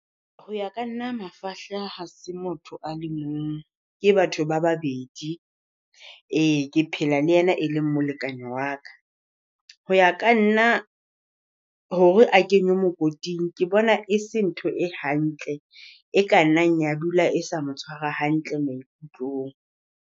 Ho ya ka nna mafahla ha se motho a le mong, ke batho ba babedi. Ee ke phela le yena e leng molekane wa ka, ho ya ka nna hore a kenywe mokoting ke bona e se ntho e hantle e ka nnang ya dula e sa mo tshwara hantle maikutlong.